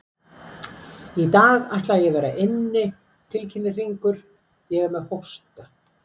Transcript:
Í dag ætla ég að vera inni, tilkynnir Hringur, ég er með hósta.